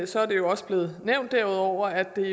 så er det jo også blevet nævnt derudover at det